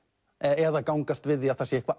eða gangast við því að það sé eitthvað